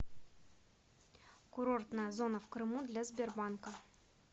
курортная зона в крыму для сбербанка